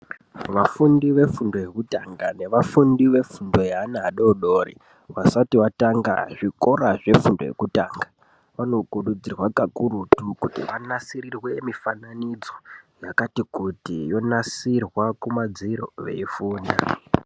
Vafundi vefundo yekutanga nevafundi vefundo yevana vadodori. Vasati vatanga zvikora zvefundo yekutanga vanokurudzirwa kakurutu kuti vanasirirwe mifananidzo yakati kuti yonasirwa kumadziro veifunda.